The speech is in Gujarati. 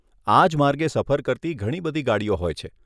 આજ માર્ગે સફર કરતી ઘણી બધી ગાડીઓ હોય છે.